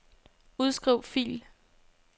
Udskriv fil.